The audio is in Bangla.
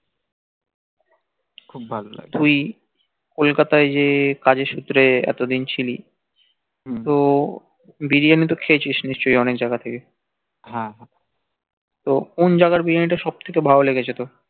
Kolkata এ যে কাজের সুত্রে এতদিন ছিলি তো বিরিয়ানি তো খেয়েছিস নিশ্চয়ই অনেক জাইগা থেকে হ্যা ত কোন জাইগার বিরিয়ানি টা সব থেকে ভাল লেগেছে তোর